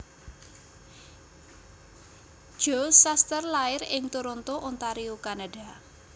Joe Shuster lair ing Toronto Ontario Kanada